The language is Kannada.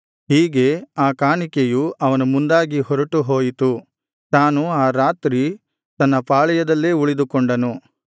ಹೀಗೆ ಆ ಕಾಣಿಕೆಯು ಅವನ ಮುಂದಾಗಿ ಹೊರಟು ಹೋಯಿತು ತಾನು ಆ ರಾತ್ರಿ ತನ್ನ ಪಾಳೆಯದಲ್ಲೇ ಉಳಿದುಕೊಂಡನು